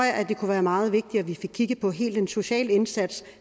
det kunne være meget vigtigt at vi fik kigget på hele den sociale indsats